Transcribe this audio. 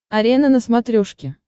арена на смотрешке